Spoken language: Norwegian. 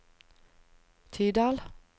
Tydal